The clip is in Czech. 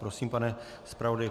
Prosím, pane zpravodaji.